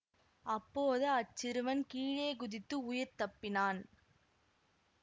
அப்போது அச்சிறுவன் கீழே குதித்து உயிர் தப்பினான்